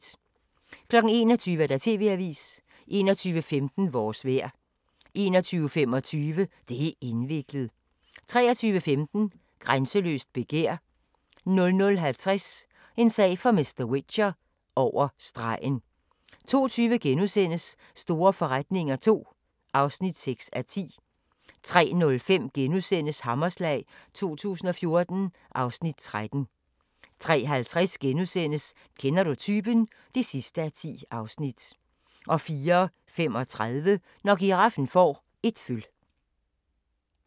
21:00: TV-avisen 21:15: Vores vejr 21:25: Det' indviklet 23:15: Grænseløst begær 00:50: En sag for mr. Whicher: Over stregen 02:20: Store forretninger II (6:10)* 03:05: Hammerslag 2014 (Afs. 13)* 03:50: Kender du typen? (10:10)* 04:35: Når giraffen får et føl